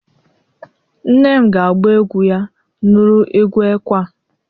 nne m ga agba egwu ya nuru egwu ekwe a